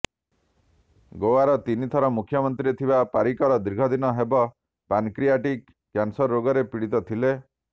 ଗୋଆର ତିନିଥର ମୁଖ୍ୟମନ୍ତ୍ରୀ ଥିବା ପାରିକର ଦୀର୍ଘଦିନ ହେବ ପାନକ୍ରିଆଟିକ କ୍ୟାନସର ରୋଗରେ ପୀଡିତ ଥିଲେ